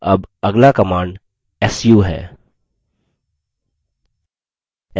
अब अगला command su है